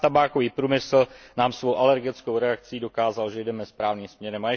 Sám tabákový průmysl nám svou alergickou reakcí dokázal, že jdeme správným směrem.